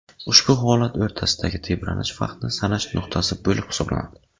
Ushbu holatlar o‘rtasidagi tebranish vaqtni sanash nuqtasi bo‘lib hisoblanadi.